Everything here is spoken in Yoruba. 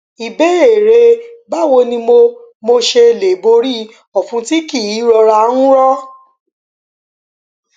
ìbéèrè báwo ni mo mo ṣe lè borí òfun tí kì í rọra ń rọ